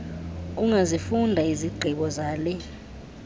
ungazifunda izigqibo zale